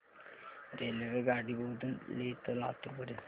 रेल्वेगाडी बोधन ते लातूर पर्यंत